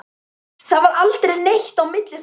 Það varð aldrei neitt á milli þeirra.